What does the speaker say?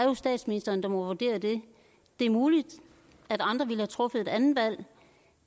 må statsministeren jo vurdere det er muligt at andre ville have truffet et andet valg